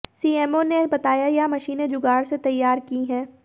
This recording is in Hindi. सीएमओ ने बताया यह मशीनें जुगाड़ से तैयार की है